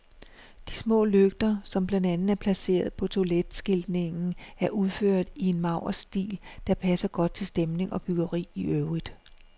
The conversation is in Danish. De små lygter, som blandt andet er placeret på toiletskiltningen, er udført i en maurisk stil, der passer godt til stemning og byggeri i øvrigt.